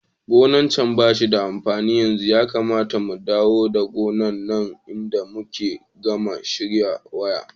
Gonan can bashi da amfani yanzu, Yakamata mu dawo da gonan nan idan muka gama share wa.